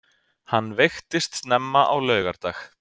Hann veiktist snemma á laugardag